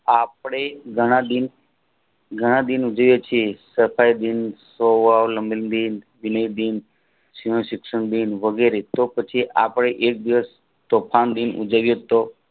આપણે ઘણા દિન ઘણા દિન ઉજવીયે છીએ શતાબ્દીન વગેરે તો પછી આપણે તોફાન દિન ઉજવીયે તો